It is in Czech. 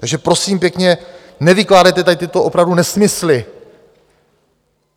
Takže prosím pěkně, nevykládejte tady tyto opravdu nesmysly!